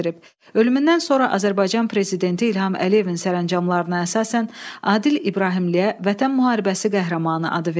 Ölümündən sonra Azərbaycan prezidenti İlham Əliyevin sərəncamlarına əsasən Adil İbrahimliyə Vətən müharibəsi qəhrəmanı adı verilib.